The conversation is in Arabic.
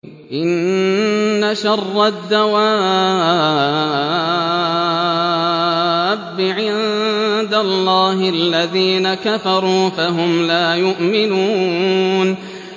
إِنَّ شَرَّ الدَّوَابِّ عِندَ اللَّهِ الَّذِينَ كَفَرُوا فَهُمْ لَا يُؤْمِنُونَ